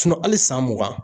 hali san mugan